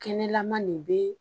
Kɛnɛlama nin be